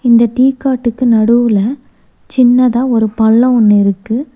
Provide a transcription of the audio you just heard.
இந்த டீ காட்டுக்கு நடுவுல சின்னதா ஒரு பல்லோ ஒன்னு இருக்கு.